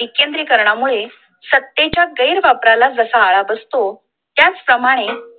विकेंद्रीकरणा मूळे सत्तेच्या गैरवापराला कसा आळा बसतो त्याच प्रमाणे